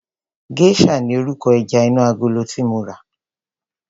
Geisha ni orúkọ ẹja inú agolo tí mo rà.